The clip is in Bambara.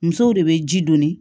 Musow de bɛ ji donni